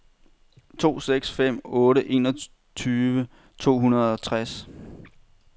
to seks fem otte enogtyve to hundrede og tres